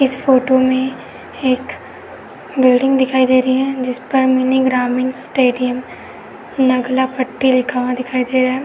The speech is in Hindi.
इस फोटो में एक बिल्डिंग दिखाई दे रही है जिस पर मिनी ग्रामीण स्टेडियम नगला पट्टी लिखा हुआ दिखाई दे रहा है।